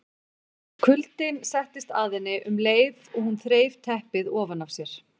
Kuldinn settist að henni um leið og hún þreif teppið ofan af sér.